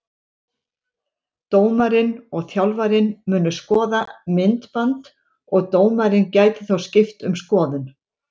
Dómarinn og þjálfarinn munu skoða myndband og dómarinn gæti þá skipt um skoðun.